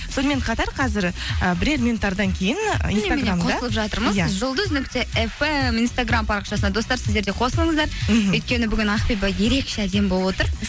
сонымен қата қазір і бірер минуттардан кейін жұлдыз нүкте фм инстаграм парақшасына достар сіздер де қосылыңыздар мхм өйткені бүгін ақбибі ерекше әдемі болып отыр